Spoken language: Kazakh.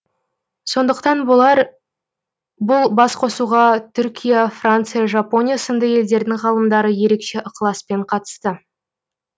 сондықтан болар бұл басқосуға түркия франция жапония сынды елдердің ғалымдары ерекше ықыласпен қатысты